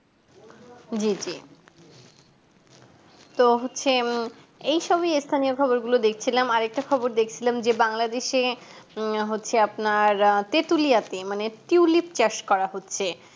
জি জি তো হচ্ছে উম এই সবই এস্থানীয় খবর গুলো দেখছিলাম আর একটা খবর দেখছিলাম যে বাংলাদেশে আহ হচ্ছে আপনার তিতুলিয়াতে মানে tulip চাষ করা হচ্ছে